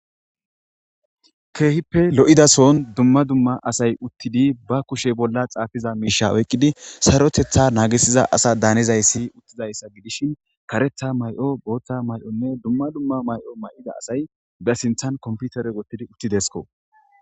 keehippe lo7idason dumma dumma asay uttidi ba kushe bolla xaafiza miisha oyqqidi sarotetha naagisiza asa daanizayssi uttizayssa gidishin karetha may7o booththa may7onne dumma dumma may7o may7ida asay be sinthan komputere gottidi uttidesko